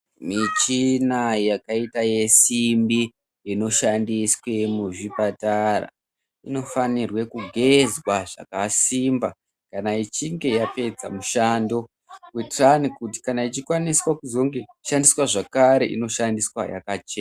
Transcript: Michina yakaita yesimbi inoshandiswe muzvipatara inofanirwe kugezwa zvakasimba kana ichinge yapedza mushando kuitira kuti kana ichikwanisa kushandiswa zvakare inoshandiswa yakachena.